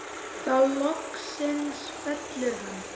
Þá loksins fellur hann.